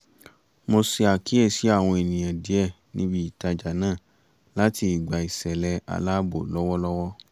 mo ṣe àkíyèsi àwọn ènìyàn díẹ̀ níbi ìtajà náà làti ìgbà ìṣẹ̀lẹ aláàbò lọ́wọ́lọ́wọ́